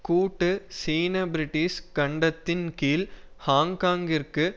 கூட்டு சீனபிரிட்டிஷ் கண்டத்தின் கீழ் ஹாங்காங்கிற்கு